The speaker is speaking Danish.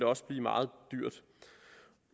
også blive meget dyrt